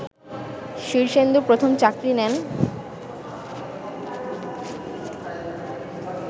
শীর্ষেন্দু প্রথম চাকরি নেন